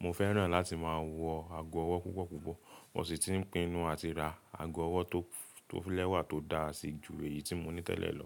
Mo fẹ́ràn láti máa wọ ago ọwọ́ púpọ̀púpọ̀. Mo sì ti ń pinnu àti ra ago ọwọ́ tó lẹ́wà tó dáa si ju èyí tí mo ní tẹ́lẹ̀ lọ.